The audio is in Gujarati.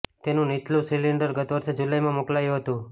તેનું નીચલું સિલિન્ડર ગત વર્ષે જુલાઈમાં મોકલાયું હતું